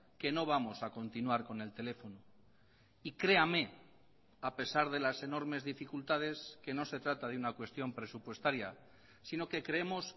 que no vamos a continuar con el teléfono y créame a pesar de las enormes dificultades que no se trata de una cuestión presupuestaria sino que creemos